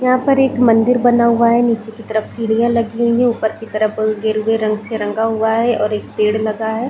यहाँ पर एक मंदिर बना हुआ है नीचे की तरफ सीढ़िया लगी हुई है ऊपर की तरफ गेरुवे रंग से रंगा हुआ है और एक पेड़ लगा हुआ हैं ।